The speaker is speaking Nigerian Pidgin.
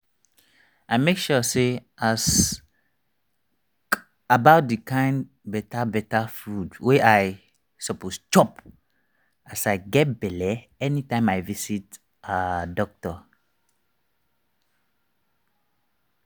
i make sure say i as k about the kind better better food wey i suppose chop as i get belle anytime i visit ah doctor